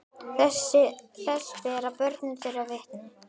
Þess bera börn þeirra vitni.